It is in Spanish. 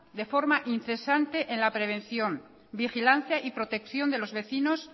de forma incesante en la prevención vigilancia y protección de los vecinos